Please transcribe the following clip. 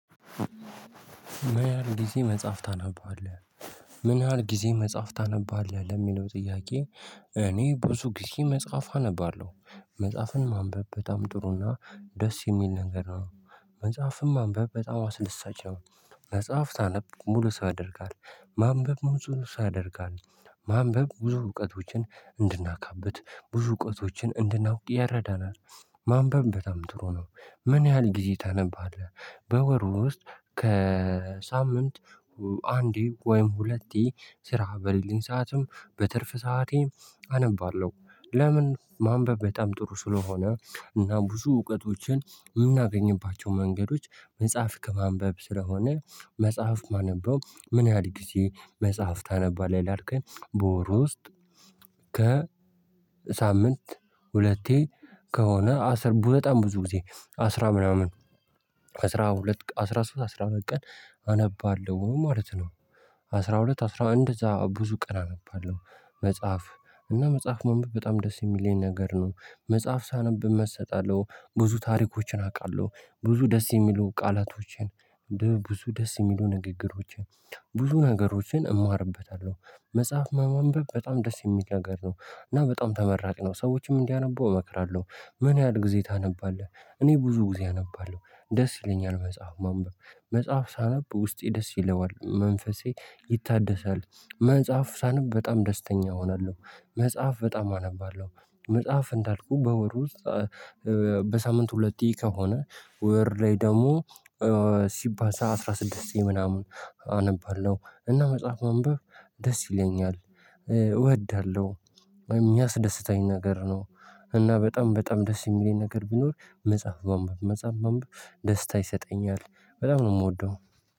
ምን ያህል ጊዜ መጽሐፍ ታነባለህ? ምን ያህል ጊዜ መጽሐፍ ታነባለህ ለሚለው ጥያቄ። እኔ ብዙ ጊዜ መጽሐፍ አነባለሁ። መጽሐፍን ማንበብ በጣም ጥሩና ደስ የሚል ነገር ነው። መጽሐፍን ማንበብ በጣዋ አስደሳች ነው። መጽሐፍ ስታነብ ሙሉ ሰው ያደርግሃል። ማንበብ ሙሉ ሰው ይደርጋል። ማንበብ ብዙ እውቀቶችን እንድናካብት ብዙ እውቀቶችን እንድናውቅ ይረዳናል። ማንበብ በጣም ጥሩ ነው። ምን ያህል ጊዜ ታነባለህ? በወር ውስጥ ከሳምንት አንዴ ወይም ሁለቴ ስራ በሌለኝ ሰዓትም በትርፍ ሰዓቴም አነባለሁ። ለምን ማንበብ በጣም ጥሩ ስለሆነ እና ብዙ እውቀቶችን የምናገኝባቸው መንገዶች መጽሐፍ ከማንበብ ስለሆነ። መጽሐፍ ማነበው ምን ያህል ጊዜ መጽሐፍ ታነባለህ? ላልከኝ በወር ውስጥ ከ ሳምንት ሁለቴ ከሆነ አስር በጣም ብዙ ጊዜ አስራ ምናምን አስራ ሁለት አስራ ሶስት አስራ ሁለት ቀን አነባለሁ ማለት ነው። አስራ ሁለት አስራ እንደዛ ብዙ ቀን አነባለሁ። መጽሐፍ እና መጽሐፍ ማንብብ በጣም ደስ የሚለኝ ነገር ነው። መጽሐፍ ሳነብ እመሰጣለሁ ብዙ ታሪኮችን አውቃለሁ። ብዙ ደስ የሚሉ ቃላቶችን። ብዙ ደስ የሚሉ ንግግሮችን። ብዙ ነገሮችን እማርበታለሁ። መጽሐፍ ማንበብ በጣም ደስ የሚል ነገር ነው። እና በጣም ተመራጭ ነው ሰዎችም እንዲያነቡ እመክራለሁ። ምን ያህል ጊዜ ታነባለህ? እኔ ብዙ ጊዜ አነባለሁ ደስ ይለኛል መጽሐፍ ማንበብ። መጽሐፍ ሳነብ ውስጤ ደስ ይለዋል መንፈሴ ይታደሳል። መጽሐፍ ሳነብ በጣም ደስተኛ እሆናለሁ። መጽሐፍ በጣም አነባለሁ። መጽሐፍ እንዳልኩ በወር ውስጥ። በሳምንት ሁለቴ ከሆነ ወር ላይ ደግሞ ሲባል አስራ ስድስቴ ምናምን አነባለሁ እና መጽሐፍ ማንበብ ደስ ይለኛል። እወዳለሁ። የሚያስደስተኝ ነገር ነው። እና በጣም በጣም ደስ የሚለኝ ነገር ቢኖር መጽሐፍ ማንበብ መጽሐፍ ማንበብ ደስታ ይሰጠኛል። በጣም ነው የምወደው።